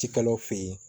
Cikɛlaw fɛ yen